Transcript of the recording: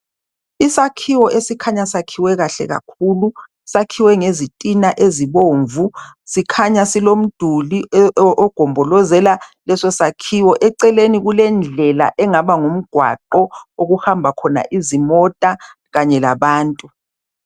isakhiwo esikhanya siyakhiwekahle kakhulu ngezitina ezibomvu sikhanya silomduli ogombozela leso sakhiwo eceleni kulendlela engaba ngumgwaqo okuhamba khona izimota kanye labantu